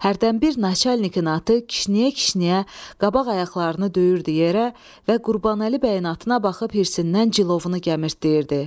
Hərdən bir naçalnikin atı kişniyə-kişniyə qabaq ayaqlarını döyürdü yerə və Qurbanəli bəyin atına baxıb hirsindən cilovunu gəmirtləyirdi.